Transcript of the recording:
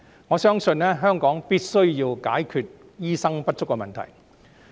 我相信香港必須解決醫生不足的問題。